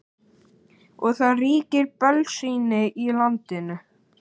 Og það ríkir bölsýni í landinu.